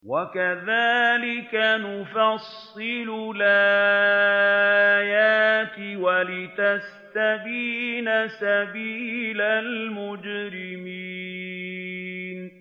وَكَذَٰلِكَ نُفَصِّلُ الْآيَاتِ وَلِتَسْتَبِينَ سَبِيلُ الْمُجْرِمِينَ